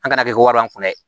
An kana kɛ wari kun ye